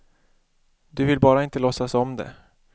Du vill bara inte låtsas om det.